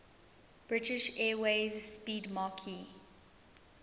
british airways 'speedmarque